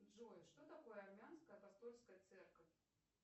джой что такое армянская апостольская церковь